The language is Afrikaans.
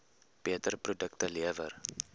beter produkte lewer